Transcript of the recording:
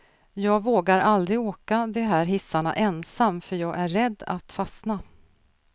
Jag vågar aldrig åka de här hissarna ensam, för jag är rädd att fastna.